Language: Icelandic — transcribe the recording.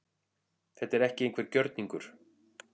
Þetta er ekki einhver gjörningur